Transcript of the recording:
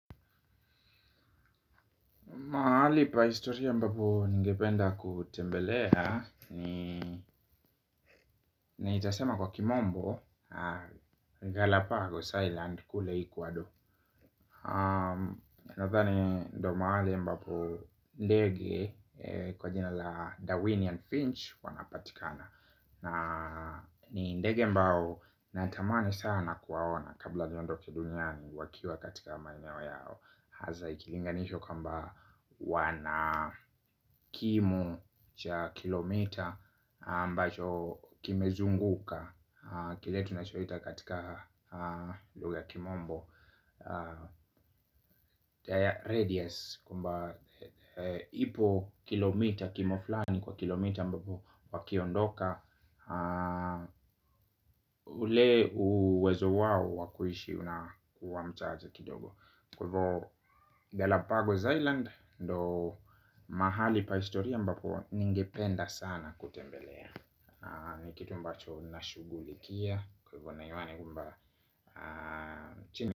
Mahali pa historia ambapo ningependa kutembelea nitasema kwa kimombo, Galapagos island, kule equador. Nadhani ndio mahali ambapo ndege kwa jina la Darwinian Finch wanapatikana. Ni ndege ambao natamani sana kuwaona kabla niondoke duniani wakiwa katika maeneo yao. Haza ikilinganishwa kwamba wana kimu cha kilomita ambacho kimezunguka kile tunachoita katika lugha ya kimombo Taya radius kwamba ipo kilomita kimoflani kwa kilomita ambapo wakiondoka. Ule uwezo wao wa kuishi unakuwa mchache kidogo. Kwa hivo Delapago's Island. Ndo mahali pa historia ambapo ningependa sana kutembelea. Ni kitu ambacho nashughulikia kwa hivo naimani kwambwa chini.